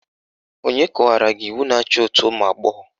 Onye kọwara gị iwu na-achị òtù ụmụagbọghọ?